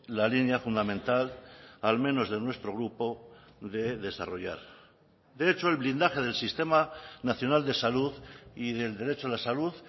la línea fundamental al menos de nuestro grupo de desarrollar de hecho el blindaje del sistema nacional de salud y del derecho a la salud